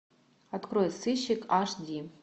открой сыщик аш ди